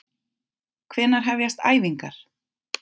Hvenær hefjast æfingar?